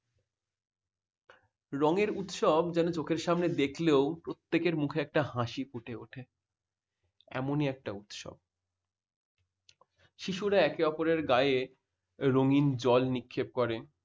রঙের উৎসব যেন চোখের সামনে দেখলেও প্রত্যেকের মুখে একটা হাসি ফুটে উঠে। এমনি একটা উৎসব। শিশুরা একে অপরের গায়ে। রঙিন জল নিক্ষেপ করে।